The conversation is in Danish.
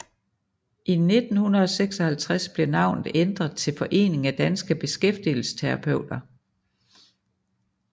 I 1956 blev navnet ændret til Foreningen af Danske Beskætfigelsesterapeuter